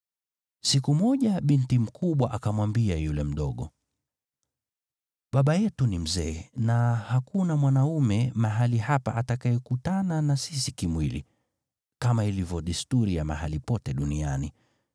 Siku moja binti mkubwa akamwambia yule mdogo, “Baba yetu ni mzee na hakuna mwanaume mahali hapa atakayekutana na sisi kimwili, kama ilivyo desturi ya mahali pote duniani.